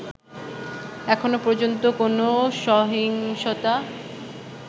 এখনো পর্যন্ত কোন সহিংসতা